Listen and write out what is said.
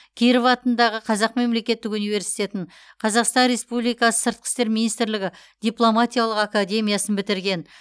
киров атындағы қазақ мемлекеттік университетін қазақстан республиксы сыртқы істер министрлігі дипломатиялық академиясын бітірген